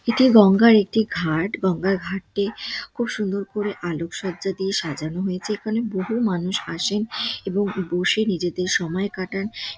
এটি গঙ্গা -র একটি ঘাট গঙ্গা -র ঘাটটি খুব সুন্দর করে আলোক সজ্জা দিয়ে সাজানো হয়েছে এখানে। বহু মানুষ আসেন এবং বসে নিজেদের সময় কাটান ।